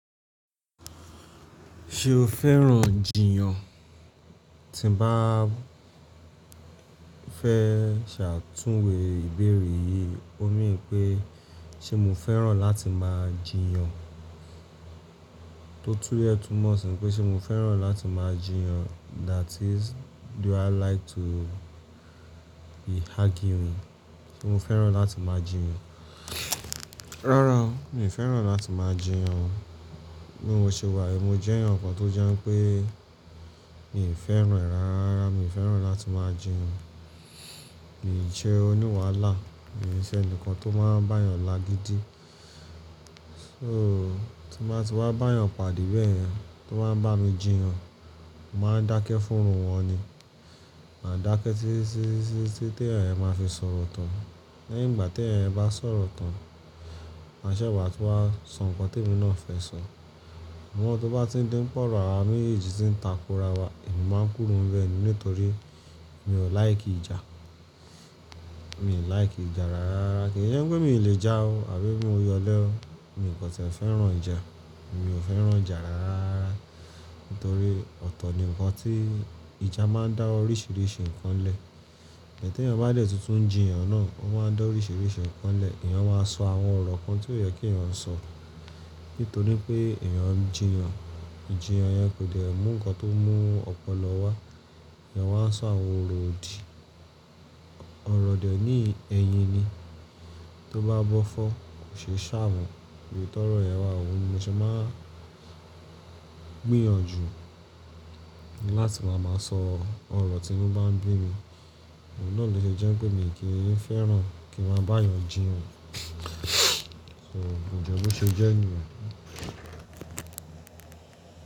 Ṣé o fẹ́ràn jìyàn? Tí mo bá fẹ́ ṣe àtúnwe ìbéèrè yìí, ó ní pé ṣé mo fẹ́ràn láti máa jìyàn? Tó túlè túmọ̀ sí pé ṣé mo fẹ́ràn láti máa jìyàn? That is, do i like to be arguing? Ṣé mo fẹ́ràn láti máa jìyàn? Rárá, mi ò fẹ́ràn láti máa jìyàn. Bí mo ṣe wà yi mo jẹ́ ẹnìkan tó jẹ́ pé mi ò fẹ́ràn re ìrárá, mi ò fẹ́ràn láti máa jìyàn. Mi ò ṣe oní wàhálà, mio sẹ́ ẹni kan tó máa ń bá èèyàn lagídí. So, tí mo bá ti wá bá ẹ̀yàn pàdé bẹ́yen, tí o wan bá mi jìyàn, mo máa ń dákẹ́ fún iru wọn ni. Màá dákẹ́ títí tí ẹ̀eyan yẹn máa fi sọ̀rọ̀ tán. Lẹ́yìn ìgbà tí ẹ̀eyan yẹn bá sọ̀rọ̀ tán, màá ṣẹ́ se wá tún wá sọ nǹkan tí emi náà fẹ́ sọ. Ṣùgbọ́n tí o bá ti ń dí pe ọ̀rọ̀ awa mejeji tí ń tako ara wa, èmi máa ń kúrò ni ibẹ́ni nítorí mi ò láìkí ìjà. Mi ò láìkí ìjà rárá, kíì ṣe pé mi ò le jà o, àbí mo ya olé o. Mi ò kan tie fẹ́ràn ìjà. Mi ò fẹ́ràn ìjà rárá nítorí ọ̀tọ̀ ni ǹkan tí ìjà máa ń dá oríṣìíríṣìí ǹkan lẹ̀. E tí ẹ̀yàn bá dé tuntun ń jìyàn náà, ó máa ń dá oríṣìíríṣìí ǹkan lẹ̀. Ẹ̀yàn máa sọ àwọn ọ̀rọ̀ kan tí ó yẹ kí ẹ̀yàn sọ nítorí pé ẹ̀yàn ń jìyàn. Ìjìyàn yẹn kò de mú ǹkan tó mú ọpọlọ wá. Ẹ̀yàn máa ń sọ àwọn ọ̀rọ̀ òdì. Ọ̀rọ̀ dè ní yìí, ẹyin ni. Tí ó bá bọ́ fọ́, kò ṣe ṣàmọ̀n. Ibitoro yẹ́n wà, óun ní mo ṣe máa n gbìyànjú láti máa máa sọ ọ̀rọ̀ tí inú bá ń bí mi. Òun náà lè ṣe jẹ́ pé mi kì í fẹ́ràn kí n ma bá eẹ̀yàn jìyàn. So, kò jẹ́ bi ó ṣe jẹ́ niyen.